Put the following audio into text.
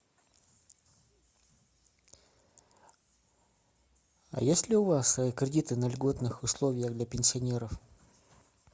а есть ли у вас кредиты на льготных условиях для пенсионеров